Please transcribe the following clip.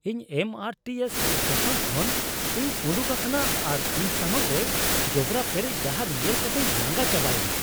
ᱤᱧ M R T S station ᱠᱷᱚᱱ ᱤᱧ ᱩᱰᱩᱠ ᱟᱠᱟᱱᱟ ᱟᱨ ᱤᱧ ᱥᱟᱢᱟᱝ ᱨᱮ ᱡᱚᱵᱽᱨᱟ ᱯᱮᱨᱮᱡ ᱰᱟᱦᱟᱨ ᱧᱮᱞ ᱠᱟᱛᱤᱧ ᱞᱟᱸᱜᱟ ᱪᱟᱵᱟᱭᱮᱱᱟ ᱾